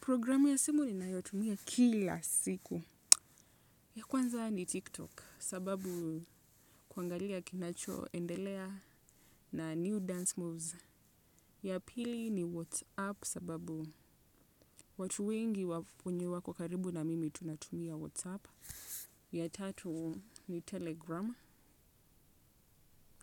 Programu ya simu ninayotumia kila siku. Ya kwanza ni tiktok. Sababu kuangalia kinachoendelea na new dance moves. Ya pili ni whatsapp. Sababu watu wengi wenye wako karibu na mimi tunatumia whatsapp. Ya tatu ni telegram.